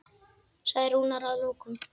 sagði Rúnar að lokum.